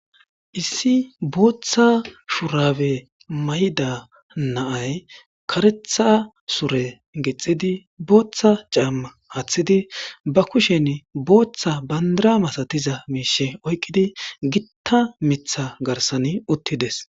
Issi booththa shurabe mayida na'ay kareththa sure gixidi booththa caamma aaththidi ba kushen booththa bandira masatiza miishshe oyqqidi gitta miiththa garssan uuttides